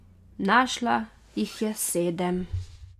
Našla jih je sedem.